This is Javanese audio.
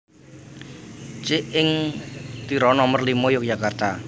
Cik Ing Tiro Nomer limo Yogyakarta